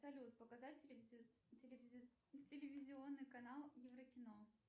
салют показать телевизионный канал еврокино